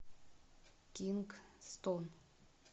кингстон